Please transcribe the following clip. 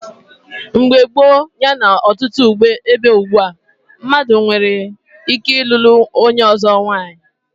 Mgbe gboo yana ọtụtụ ebe ugbua, mmadụ nwere ike ịlụlụ onye ọzọ nwanyị.